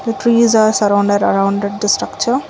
the trees are surrounded arounded the structure.